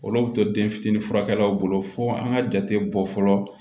Olu bɛ to den fitinin furakɛlaw bolo fo an ka jate bɔ fɔlɔ